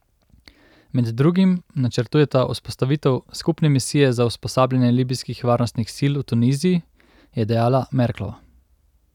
Med drugim načrtujeta vzpostavitev skupne misije za usposabljanje libijskih varnostnih sil v Tuniziji, je dejala Merklova.